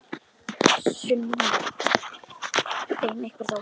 Sunna: En einhver þó?